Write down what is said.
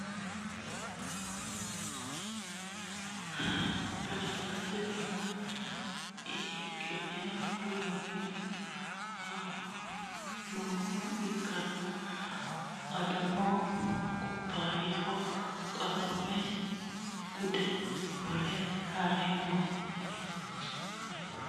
konne bayicho mannu sagale saga'lanni nooha ikkanna, tini sagaleno badalate tima ihiqqi'ne worroonnihu nooha ikkanna, adono kubbayyaho qaamme gunde worre hee'noonni.